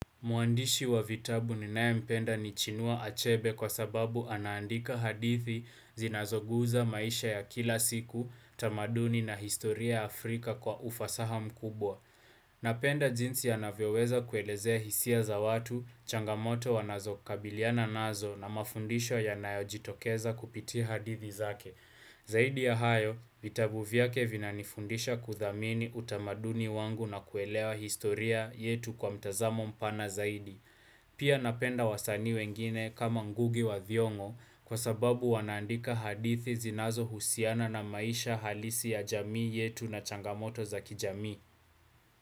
Mwandishi wa vitabu ninayempenda ni Chinua Achebe kwa sababu anaandika hadithi zinazoguSa maisha ya kila siku, tamaduni na historia ya Afrika kwa ufasaha mkubwa. Napenda njinsi anavyoweza kuelezea hisia za watu, changamoto wanazokabiliana nazo na mafundisho yanayojitokeza kupitia hadithi zake. Zaidi ya hayo, vitabu vyake vinanifundisha kuthamini utamaduni wangu na kuelewa historia yetu kwa mtazamo mpana zaidi. Pia napenda wasanii wengine kama Ngugi wa Thiong'o kwa sababu wanaandika hadithi zinazohusiana na maisha halisi ya jamii yetu na changamoto za kijamii.